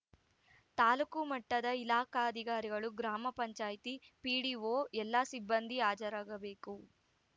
ತಾಲೂಕು ಮಟ್ಟದ ಇಲಾಖಾಧಿಕಾರಿಗಳು ಗ್ರಾಮ ಪಂಚಾಯಿತಿ ಪಿಡಿಓ ಎಲ್ಲ ಸಿಬ್ಬಂದಿ ಹಾಜರಾಗಬೇಕು